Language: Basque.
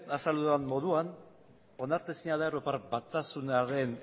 azaldu dudan moduan onartezina da europar batasunaren